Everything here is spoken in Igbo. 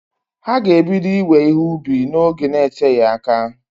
Ha g'ebido iwe ihe ubi n'oge n'eteghi aka.